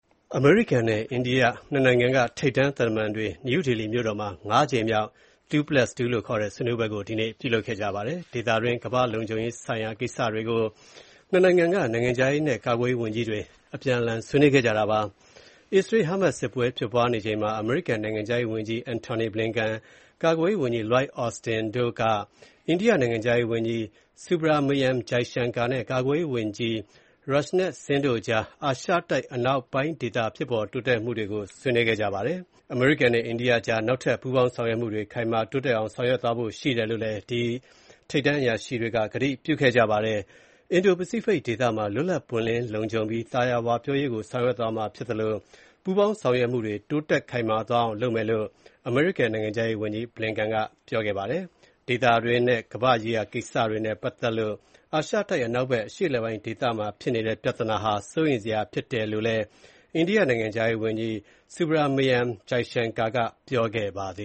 အမေရိကန်နဲ့ အိန္ဒိယ ၂ နိုင်ငံက ထိပ်တန်းသံတမန်တွေ နယူးဒေလီမြို့တော်မှာ ၅ ကြိမ်မြောက် 2+2 ဆွေးနွေးပွဲကို ဒီနေ့ပြုလုပ်ခဲ့ပါတယ်။ ဒေသတွင်းနဲ့ ကမ္ဘာ့လုံခြုံရေးဆိုင်ရာကိစ္စတွေကို ၂ နိုင်ငံက နိုင်ငံခြားရးနဲ့ ကာကွယ်ရေးဝန်ကြီးတွေ ဆွေးနွေးခဲ့ကြတာပါ။ အစ္စရေး-ဟာမတ်စ်စစ်ပွဲဖြစ်ပွားနေချိန်မှာ အမေရိကန်နိုင်ငံခြားရေးဝန်ကြီး Antony Blinken, ကာကွယ်ရေးဝန်ကြီး Lloyd Austin, အိန္ဒိယနိုင်ငံခြားရေးဝန်ကြီး Subrahmanyam Jaishankar နဲ့ ကာကွယ်ရေးဝန်ကြီး Rajnath Singh တို့ကြား အာရှတိုက်အနောက်ပိုင်းဒေသ ဖြစ်ပေါ်တိုးတက်မှုတွေကိုလည်း ဆွေးနွေးခဲ့ကြပါတယ်။ အမေရိကန်နဲ့ အိန္ဒိယကြားနောက်ထပ် ပူးပေါင်းဆောင်ရွက်မှုတွေ ခိုင်မာတိုးတက်အောင်ဆောင်ရွက်သွားဖို့လည်း ကတိပြုခဲ့ကြပါတယ်။ အင်ဒို-ပစိဖိတ်ဒေသမှာ လွတ်လပ် ပွင့်လင်း လုံခြုံပြီး သာယာဝပြောရေးကိုဆောင်ရွက်သွားမှာဖြစ်သလို ပူးပေါင်းဆောင်ရွက်မှုတွေ တိုးတက် ခိုင်မာအောင်လုပ်သွားမယ်လို့ အမေရိကန်နိုင်ငံခြားရေးဝန်ကြီး Blinken ကပြောကြားခဲ့ပါတယ်။ ဒေသတွင်းနဲ့ ကမ္ဘာ့ရေးရာကိစ္စနဲ့ပါတ်သက်လို့ အာရှတိုက်အနောက်ဖက် အရှေ့အလယ်ပိုင်းဒေသမှာ ဖြစ်နေတဲ့ပြဿနာဟာ စိုးရိမ်စရာဖြစ်တယ်လို့ အိန္ဒိယနိုင်ငံနိုင်ငံခြားရေးဝန်ကြီး Subrahmanyam Jaishankar က ပြောကြားခဲ့ပါတယ